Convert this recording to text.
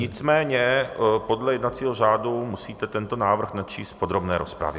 Nicméně podle jednacího řádu musíte tento návrh načíst v podrobné rozpravě.